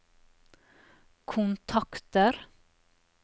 kontakter